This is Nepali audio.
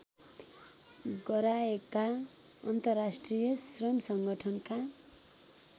गराएका अन्तर्राष्ट्रिय श्रमसङ्गठनका